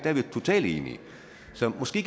er vi totalt enige så måske